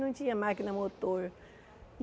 Não tinha máquina motor.